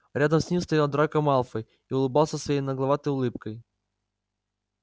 рядом с ним стоял драко малфой и улыбался своей нагловатой улыбкой